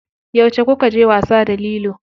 Yauce kukaje wasa da lilo?